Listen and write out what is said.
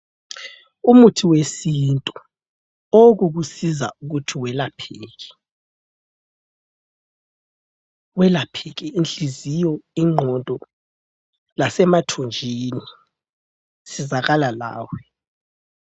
Umuthi wesintu owokukusiza ukuthi welapheke, welapheke inhliziyo, ingqondo, lasemathunjini sizakala lawe.